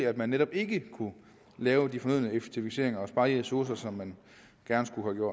at man netop ikke kunne lave de fornødne effektiviseringer og spare de ressourcer som man gerne skulle